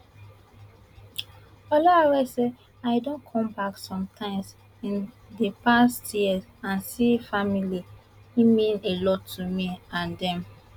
olaore say i don come back some times in di past year and see family e mean a lot to me and dem